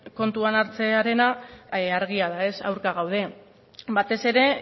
kontuan hartzearena argia da aurka gaude batez ere